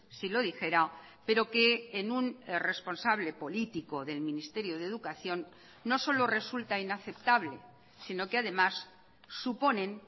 si lo dijera pero que en un responsable político del ministerio de educación no solo resulta inaceptable sino que además suponen